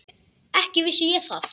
Ekki vissi ég það.